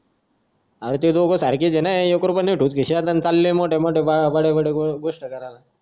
अरे ते दोघे सारखेच ना एकरुपैया नाही खिशात अन चालले बडे बडे गोष्ट करायला